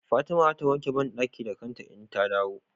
Fatima zata wanke banɗaki da kanta idan ta dawo